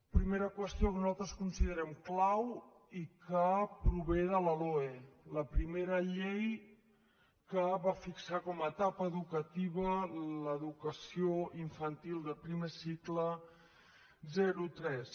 primera qüestió que nosaltres considerem clau i que prové de la loe la primera llei que va fixar com a etapa educativa l’educació infantil de primer cicle zero tres